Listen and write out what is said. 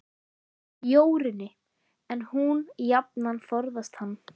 Jórunni, en hún jafnan forðast hann.